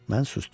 Mən susdum.